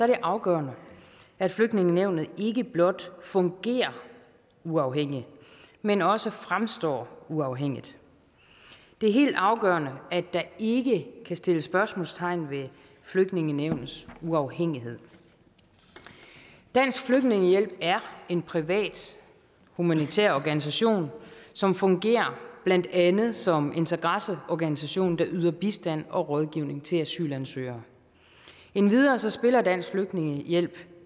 det afgørende at flygtningenævnet ikke blot fungerer uafhængigt men også fremstår uafhængigt det er helt afgørende at der ikke kan sættes spørgsmålstegn ved flygtningenævnets uafhængighed dansk flygtningehjælp er en privat humanitær organisation som fungerer blandt andet som interesseorganisation der yder bistand og rådgivning til asylansøgere endvidere spiller dansk flygtningehjælp